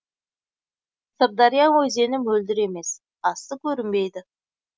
сырдария өзені мөлдір емес асты көрінбейді